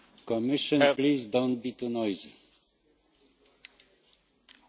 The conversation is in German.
Herr Präsident, Herr Kommissar, meine Damen und Herren Abgeordnete!